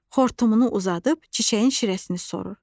Xortumunu uzadıb çiçəyin şirəsini sorur.